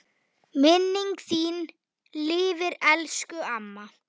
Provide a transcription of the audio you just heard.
Minning þín lifir, elsku amma.